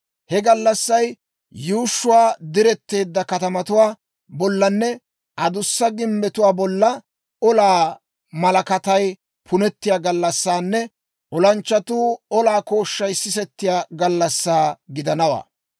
He gallassay yuushshuwaa diretteedda katamatuwaa bollanne adussa gimbbetuwaa bolla olaa malakatay punettiyaa gallassanne olanchchatuu olaa kooshshay sisetiyaa gallassaa gidanawaa.